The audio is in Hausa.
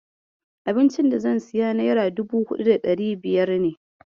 Abincin da zan siya nera dubu huɗu da ɗari biyar ne.